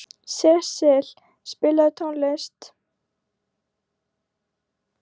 Sesil, spilaðu tónlist.